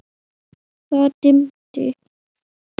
Það dimmdi.